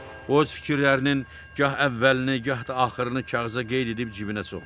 O öz fikirlərinin gah əvvəlini, gah da axırını kağıza qeyd edib cibinə soxurdu.